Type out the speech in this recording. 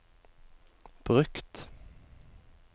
brukt